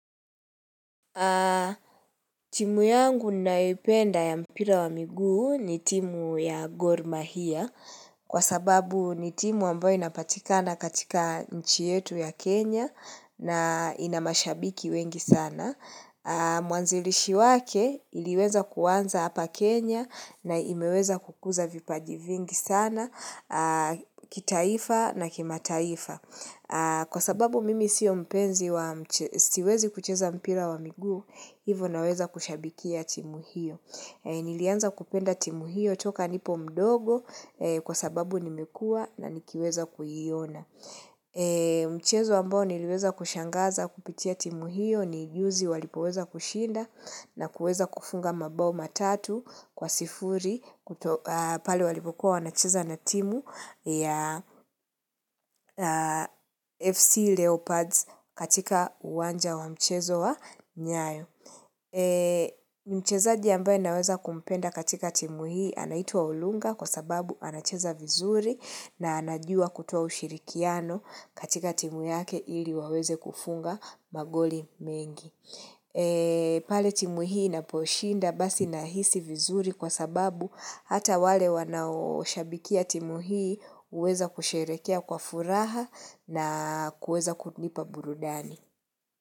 Timu yangu nayoipenda ya mpira wa miguu ni timu ya gormahia kwa sababu ni timu ambayo inapatikana katika nchi yetu ya Kenya na ina mashabiki wengi sana. Mwanzilishi wake iliweza kuanza hapa Kenya na imeweza kukuza vipaji vingi sana kitaifa na kimataifa. Kwa sababu mimi siwezi kucheza mpira wa miguu, hivyo naweza kushabikia timu hiyo. Nilianza kupenda timu hiyo toka nipo mdogo kwa sababu nimekua na nikiweza kuiona. Mchezo ambao niliweza kushangaza kupitia timu hiyo ni juzi walipoweza kushinda na kuweza kufunga mabao matatu kwa sifuri pale walipokua wanacheza na timu ya FC Leopards katika uwanja wa mchezo wa nyayo. Mchezaji ambaye anaweza kumpenda katika timu hii anaitwa Olunga kwa sababu anacheza vizuri na anajua kutoa ushirikiano katika timu yake ili waweze kufunga magoli mengi. Pale timu hii inaposhinda basi nahisi vizuri kwa sababu hata wale wanaoshabikia timu hii huweza kusherekea kwa furaha na kuweza kunipa burudani.